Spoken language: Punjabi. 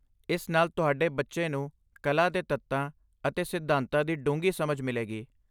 ਇਸ ਨਾਲ ਤੁਹਾਡੇ ਬੱਚੇ ਨੂੰ ਕਲਾ ਦੇ ਤੱਤਾਂ ਅਤੇ ਸਿਧਾਂਤਾਂ ਦੀ ਡੂੰਘੀ ਸਮਝ ਮਿਲੇਗੀ।